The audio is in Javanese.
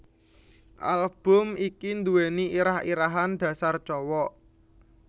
Album iki nduweni irah irahan Dasar Cowok